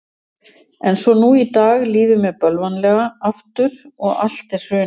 En svo nú í dag líður mér bölvanlega aftur og allt er hrunið.